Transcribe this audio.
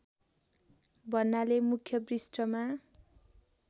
भन्नाले मुख्य पृष्ठमा